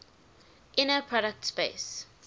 inner product space